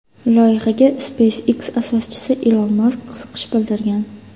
Loyihaga SpaceX asoschisi Ilon Mask qiziqish bildirgan.